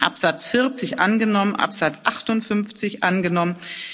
11 abgelehnt Absatz 40 angenommen Absatz